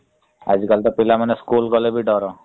ଆଜିକାଲି ତ ପିଲାମାନେ school ଗଲେ ବି ଡର ।